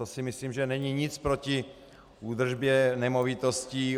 To si myslím, že není nic proti údržbě nemovitostí.